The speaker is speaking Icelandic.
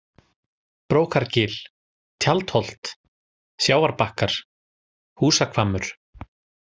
Brókargil, Tjaldholt, Sjávarbakkar, Húsahvammur